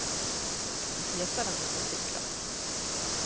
De fleste av dem bruker sykler.